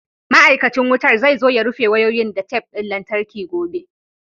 Ma'aikacin wutan zai zo ya rufe wayoyin da tef ɗin lantarki gobe.